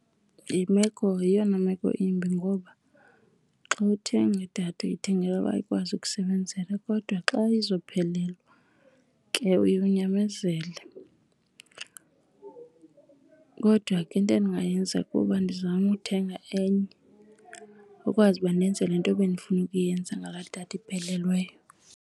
Yimeko, yeyona meko imbi ngoba xa uthenga idatha uyithengela uba ikwazi ukukusebenzela, kodwa xa izophelelwa ke uye unyamezele. Kodwa ke into endingayenza kuba ndizame ukuthenga enye ukwazi uba ndenze le nto bendifuna ukuyenza ngaloo datha iphelelweyo.